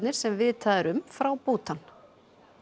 sem vitað er um frá Bútan